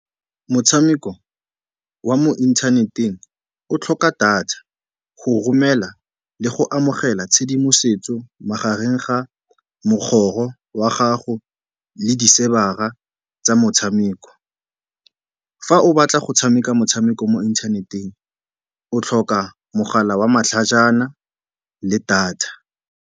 Motshameko wa mo inthaneteng o tlhoka data go romela le go amogela tshedimosetso magareng ga mogoro wa gago le di-server-ra tsa motshameko. Fa o batla go tshameka motshameko mo inthaneteng o tlhoka mogala wa matlhajana le data.